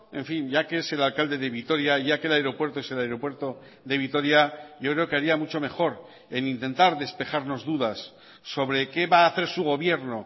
en fin ya que es el alcalde de vitoria ya que el aeropuerto es el aeropuerto de vitoria yo creo que haría mucho mejor en intentar despejarnos dudas sobre qué va a hacer su gobierno